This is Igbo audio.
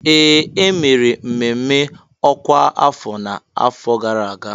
Ee! E mere mmemme ọkwa afọ n'afọ gara aga.